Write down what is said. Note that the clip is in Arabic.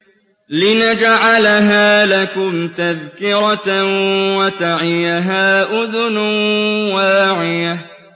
لِنَجْعَلَهَا لَكُمْ تَذْكِرَةً وَتَعِيَهَا أُذُنٌ وَاعِيَةٌ